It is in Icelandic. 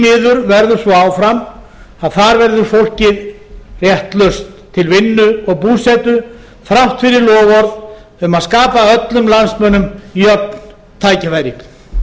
miður verður svo áfram að þar verður fólkið réttlaust til vinnu og búsetu þrátt fyrir loforð um að skapa öllum landsmönnum jöfn tækifæri